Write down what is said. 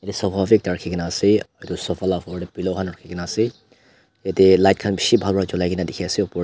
sofa bi ekta rakhikena ase edu sofa laka ofor tae pillow khan rakhikena ase yatae light bishi bhal pa cholai kena dikhiase opor--